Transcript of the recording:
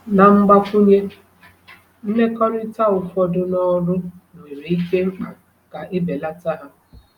Na mgbakwunye, mmekọrịta ụfọdụ n’ọrụ nwere ike mkpa ka e belata ha.